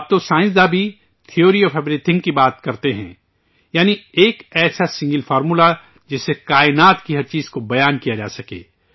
اب تو سائنس داں تھیوری اوف ایوریتھنگ کی بھی چرچہ کرتے ہیں، یعنی ایک ایسا سنگل فارمولہ جس سے کائنات کی ہر چیز کو ظاہر کیا جا سکے